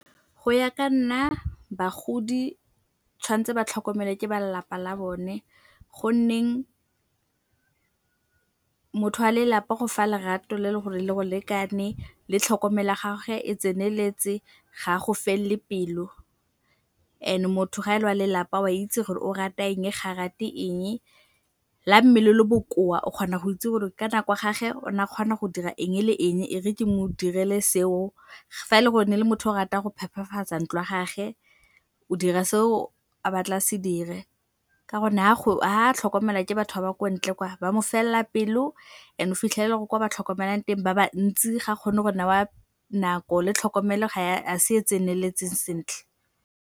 Go ya ka nna bagodi tshwan'tse ba tlhokomele ke ba lelapa la bone go nneng motho wa lelapa o go fa lerato le gore le go lekane le tlhokomelo ya gage e tseneletse. Ga a go felele pelo and motho ga e le wa lelapa oa itse gore o rata eng ga rate eng, le ga mmele o le bokoa o kgona go itse gore ka nako ya gage o na a kgona go dira eng le eng e re ke mo direle se o. Fa e le gore ne le motho o ratang go phephafatsa ntlo ya gage o dira se o a batla a se dire ka gonne ga a tlhokomelwa ke batho ba ba kwa ntle kwa ba mo felela pelo and o fitlhelela gore kwa ba tlhokomelang teng ba bantsi ga kgone go newa nako le tlhokomelo ga se e tseneletseng sentle.